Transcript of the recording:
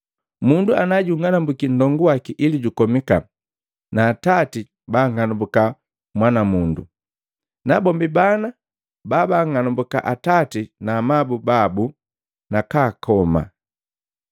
“Mundu ang'anumbuka nndongu waki ili jukomika, na atati banng'anumbuka mwanamundu, nabombi bana bahang'anambuka atati na amabu babu na kaakoma.